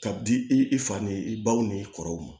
Ka di i i fa ni i baw ni kɔrɔw ma